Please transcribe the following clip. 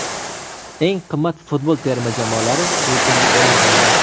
Eng qimmat futbol terma jamoalari reytingi e’lon qilindi !